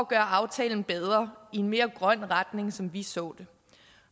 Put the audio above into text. gøre aftalen bedre i en mere grøn retning som vi så det